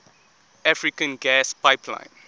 african gas pipeline